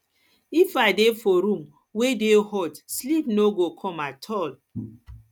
if i dey for room wey dey hot sleep no go come at all